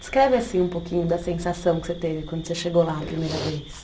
Descreve assim um pouquinho da sensação que você teve quando você chegou lá a primeira vez.